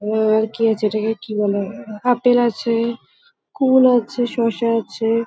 উম- আর কি আছে? এটাকে কি বলা হয়? আপেল আছে-এ- কুল আছে শসা আছে-এ--